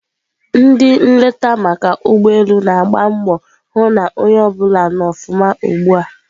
Ndị nleta maka ụgbọ elu na-agba mbọ hụ na onye ọbụla nọ ọfụma ugbua.